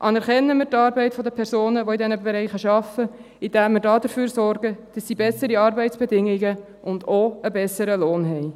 Anerkennen wir die Arbeit der Personen, die in diesen Bereichen arbeiten, indem wir dafür sorgen, dass sie bessere Arbeitsbedingungen und auch einen besseren Lohn haben.